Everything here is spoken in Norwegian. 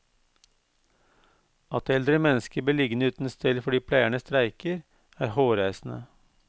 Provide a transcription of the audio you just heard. At eldre mennesker blir liggende uten stell fordi pleierne streiker, er hårreisende.